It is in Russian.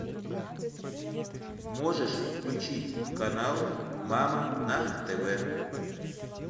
можешь включить канал мама на тв